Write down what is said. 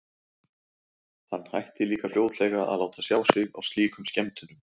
Hann hætti líka fljótlega að láta sjá sig á slíkum skemmtunum.